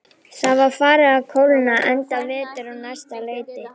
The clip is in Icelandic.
Það var farið að kólna, enda vetur á næsta leiti.